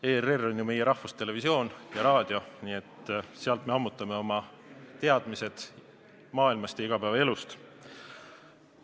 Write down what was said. ERR on ju meie rahvustelevisioon ja -raadio, sealt me ammutame oma teadmised maailmast ja igapäevaelust.